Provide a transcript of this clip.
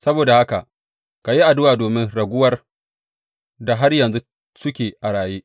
Saboda haka ka yi addu’a domin raguwar da har yanzu suke a raye.